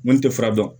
Mun tɛ fura dɔn